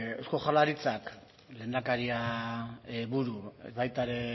eusko jaurlaritzak lehendakaria buru baita ere